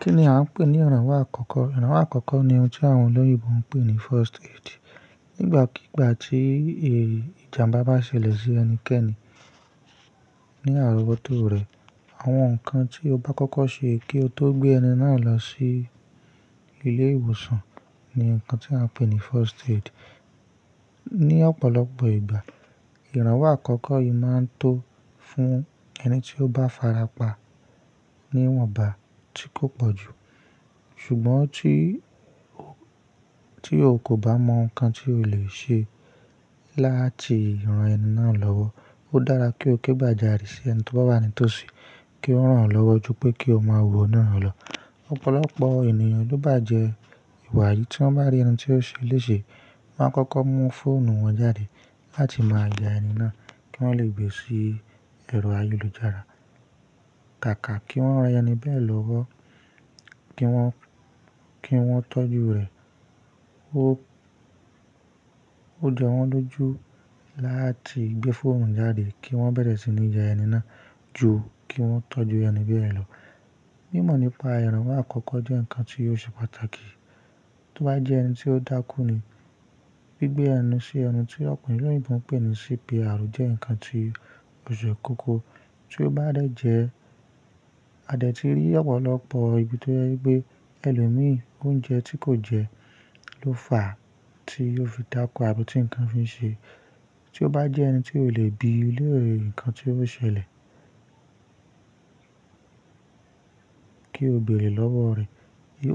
Kí ni a ń pè ní ìrànwọ́ àkọ́kọ́? Ìrànwọ́ àkọ́kọ́ ni ohun tí àwọn olóyìnbo ń pè ní first aid. Nígbàkígbà tí è ìjàmbá bá ṣẹlẹ̀ sí ẹnikẹ́ni ní àrọ́bótó rẹ̀, àwọn nǹkan tí o bá kọ́kọ́ ṣe kí o tó gbé ẹni náà lọ sí ilé ìwòsàn ni nǹkan tí a ń pè ní first aid. Ní ọ̀pọ̀lọpọ̀ ìgbà, ìrànwọ́ àkọ́kọ́ yìí máa ń tó fún ẹni tí ó bá farapa níwọ̀nba tí kò pọ̀jù. Ṣùgbọ́n tí o kò bá mọ nǹkan tí o lè ṣe láti ran ẹni náà lọ́wọ́, ó dára kí o ké pàjárí sí ẹni tó bá wà ní tòsí kí ó rán ọ lọ́wọ́ ju pé kí o máa wọ naa lọ. Ọ̀pọ̀lọpọ̀ ènìyàn ló bá jẹ ìwà yìí tí wọ́n bá rí ẹni tí ó ṣe léṣe wá n kọ́kọ́ mú fóònù wọn jáde láti máa ya ẹni náà kí wọ́n lè gbé sí ẹ̀rọ ayélujára. Kàkà kí wọ́n ra ẹni bẹ́ẹ̀ lọ́wọ́ kí wọ́n tọ́jú rẹ̀. Ó jẹ wọ́n lójú láti gbé fóònù jáde kí wọ́n bẹ̀rẹ̀ sí ní ya ẹni náà ju kí wọ́n tọ́jú ẹni bẹ́ẹ̀ lọ. Mímọ̀ nípa ìrànwọ́ àkọ́kọ́ jẹ́ nǹkan tí ó ṣe pàtàkì. Tí o bá jẹ́ ẹni tí ó dákú ni, bí gbé ẹnu sí ẹnu tí ọ̀pọ̀ olóyìnbo ń pè ní CPR jẹ́ nǹkan tí ó ṣe kókó. Tí ó bá dẹ̀ jẹ́, a dẹ̀ ti rí ọ̀pọ̀lọpọ̀ ibi tó jẹ́ pé ẹlòmí oúnjẹ tí kò jẹ ló fà á tí ó fi dákú àbí tí nǹkan fi ṣe. Tí o bá jẹ́ ẹni tí ò lè bi léèré nǹkan tí ó ṣẹlẹ̀ kí o bèrè lọ́wọ́ rẹ̀.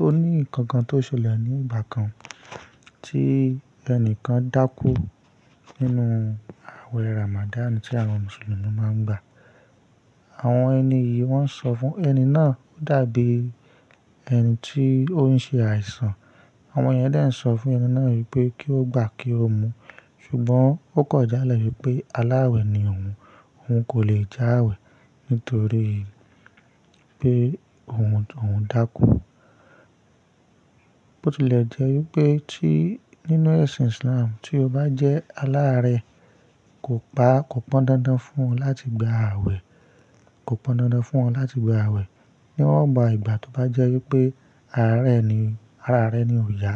Ó ní nǹkan kan tó ṣẹlẹ̀ ní ìgbà kan tí ẹnìkan dákú nínú àwẹ̀ Ramadan tí àwọn Mùsùlùmí máa ń gbà. Àwọn ẹni yìí wọ́n sọ fún ẹni náà, ó dàbí ẹni tí ó ń ṣe àìsàn. Àwọn yẹn dẹ̀ ń sọ fún ẹni náà wípé kí ó gbà kí ó mu. Ṣùgbọ́n, ó kọjá lẹ̀ wípé aláàwẹ̀ ni òun. Òun kò lè já àwẹ̀ nítorí pé òun dákú. Ó ti lè jẹ́ wípé tí nínú ẹ̀sìn Islam tí o bá jẹ́ aláàrẹ kò pọn dandan fún ọ láti gba àwẹ̀. Kò pọn dandan fún ọ láti gba àwẹ̀. Níwọ́n bá igbà tó bá jẹ́ wípé ara rẹ ni òòyà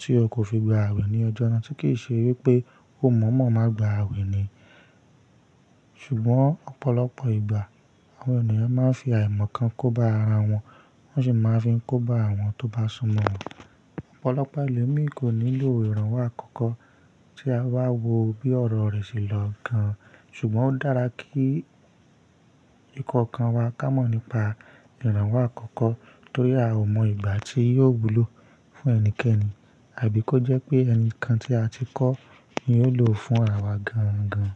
tí o kò fi gba àwẹ̀ ní ọjọ́ náà tí kìí ṣe wípé ó mọ̀ mọ̀ máa gba àwẹ̀ ní Ṣùgbọ́n, ọ̀pọ̀lọpọ̀ ìgbà àwọn ènìyàn máa ń fi àìmọ̀ kan kóba ara wọn, wọ́n ṣì máa ń fi kóba àwọn tó bá sunmọ̀ wọn. Ọ̀pọ̀lọpọ̀ ẹlòmí kò nílò ìrànwọ́ àkọ́kọ́ tí a bá wọ bí ọ̀rọ̀ rẹ̀ ṣe lọ gan. Ṣùgbọ́n ó dára kí ikọ̀ kan wa ká mọ̀ nípa ìrànwọ́ àkọ́kọ́ torí a ò mọ ìgbà tí yóò wúlò fún ẹnikẹ́ni àbí kó jẹ́ pé ẹni kan tí a ti kọ́ ni yò lò fún àwa gan gan.